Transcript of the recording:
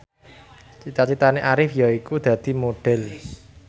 cita citane Arif yaiku dadi Modhel